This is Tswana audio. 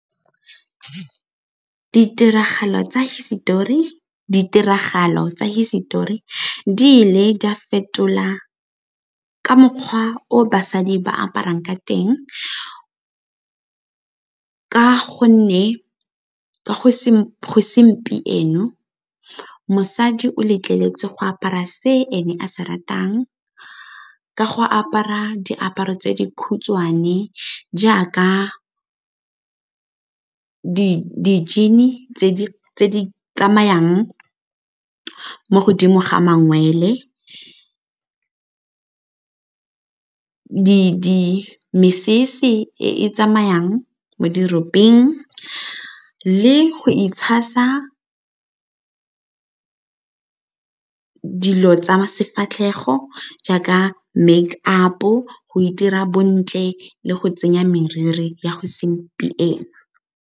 Ditiragalo tsa hisetori, ditiragalo tsa hisetori di ile di a fetola ka mokgwa o basadi ba aparang ka teng ka go nne ka go mosadi o letleletswe go apara se ene a se ratang ka go apara diaparo tse di khutshwane jaaka di-jean-e tse di tsamayang mo godimo ga mangwele, mesese e e tsamayang diropeng le go itshasa dilo tsa sefatlhego jaaka make up-o go itira bontle le go tsenya meriri ya go segompieno.